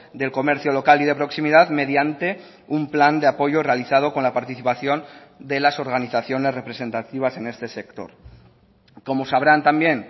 del comercio local y de proximidad mediante un plan de apoyo realizado con la participación de las organizaciones representativas en este sector como sabrán también